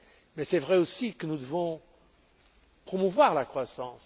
Mais il est vrai aussi que nous devons promouvoir la croissance.